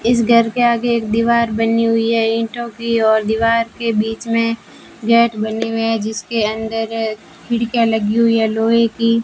इस घर के आगे एक दीवार बनी हुई है ईंटों की और दीवार के बीच में गेट बनी हुए हैं जिसके अंदर खिड़कियां लगी हुई हैं लोहे की।